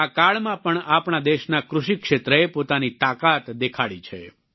સંકટના આ કાળમાં પણ આપણા દેશના કૃષિ ક્ષેત્રએ પોતાની તાકાત દેખાડી છે